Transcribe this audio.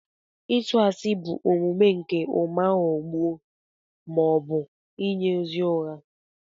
Ịtu ashi bụ omume nke ụma ghọgbuo ma ọ bụ inye ozi ụgha.